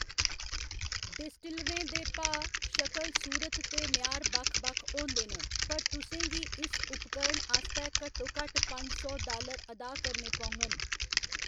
डिस्टिलरें दे भाऽ, शकल सूरत ते म्यार बक्ख बक्ख होंदे न, पर तुसें गी इस उपकरण आस्तै घट्टोघट्ट पंज सौ डालर अदा करने पौङन।